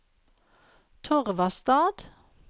Torvastad